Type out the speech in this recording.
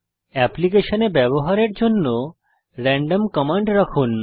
অ্যাপ্লিকেশনে ব্যবহারের জন্য র্যান্ডম কমান্ড রাখুন